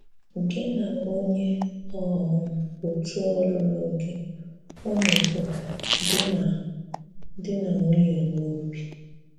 Gị na onyé um òtù̀ ọlụ̀lụ̀ gị ùnu bụ “di na “di na nwunye n’obi”?